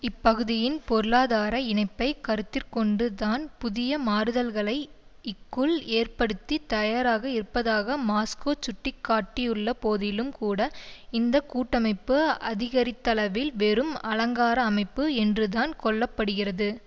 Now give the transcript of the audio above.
இப்பகுதியின் பொருளாதார இணைப்பை கருத்திற்கொண்டு தான் புதிய மாறுதல்களை க்குள் ஏற்படுத்த தயாராக இருப்பதாக மாஸ்கோ சுட்டி காட்டியுள்ளபோதிலும்கூட இந்த கூட்டமைப்பு அதிகரித்தளவில் வெறும் அலங்கார அமைப்பு என்றுதான் கொள்ள படுகிறது